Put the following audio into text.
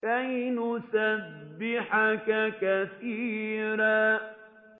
كَيْ نُسَبِّحَكَ كَثِيرًا